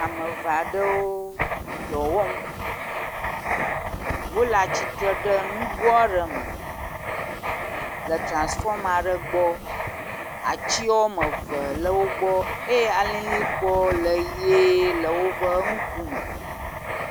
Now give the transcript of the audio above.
Ame eve aɖewo dɔ wɔm wo le atsitre ɖe nugo aɖe me le transfɔma aɖe gbɔ. Atsiwo wɔme eve le wo gbɔ eye alilikpo le ʋie le woƒe ŋkume.